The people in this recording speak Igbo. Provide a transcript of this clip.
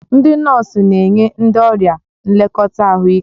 Ndị nọọsụ na-enye ndị ọrịa nlekọta ahụike.